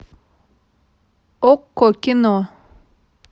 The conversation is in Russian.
окко кино